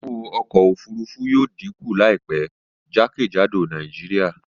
Owó ọkọ̀ òfurufú yóò díkù láìpẹ́ jákèjádò Nàìjíríà